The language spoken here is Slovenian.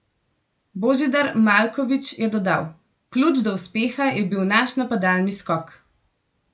Božidar Maljković je dodal: "Ključ do uspeha je bil naš napadalni skok.